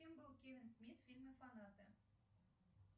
кем был кевин смит в фильме фанаты